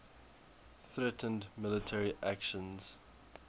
threatened military actions